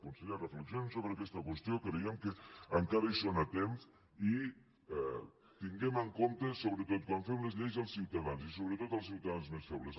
conseller reflexionin sobre aquesta qüestió creiem que encara hi són a temps i tinguem en compte sobretot quan fem les lleis els ciutadans i sobretot els ciutadans més febles